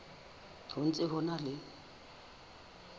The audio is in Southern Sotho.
ho ntse ho na le